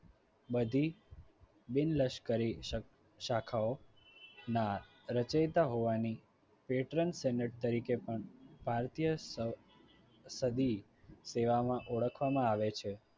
બધી બિનલશ્કરી શાખ શાખાઓના રચયિતા હોવાની patransenet તરીકે પણ ભારતીય સ સદી સેવાઓમાં ઓળખવામાં આવે છે.